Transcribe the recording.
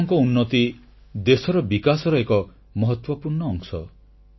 ଆପଣଙ୍କ ଉନ୍ନତି ଦେଶର ବିକାଶର ଏକ ମହତ୍ୱପୂର୍ଣ୍ଣ ଅଂଶ